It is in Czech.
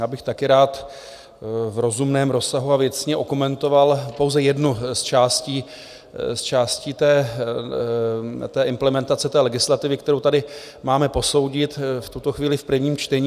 Já bych taky rád v rozumném rozsahu a věcně okomentoval pouze jednu z částí té implementace té legislativy, kterou tady máme posoudit v tuto chvíli v prvním čtení.